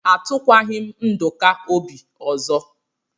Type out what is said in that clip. Atụkwaghi m Nduka obi ọzọ.